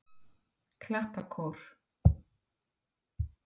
Klappakór